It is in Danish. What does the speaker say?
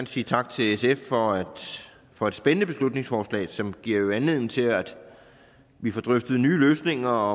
sige tak til sf for for et spændende beslutningsforslag som jo giver anledning til at vi får drøftet nye løsninger